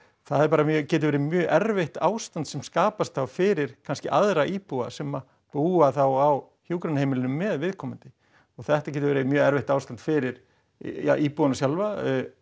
það getur verið mjög erfitt ástand sem skapast þá fyrir kannski aðra íbúa sem búa þá á hjúkrunarheimilinu með viðkomandi og þetta getur verið mjög erfitt ástand fyrir ja íbúana sjálfa